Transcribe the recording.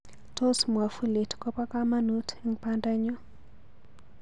Tos mwafulit koba kamanuut eng bandanyu